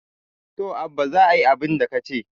to Abba za a yi abinda ka ce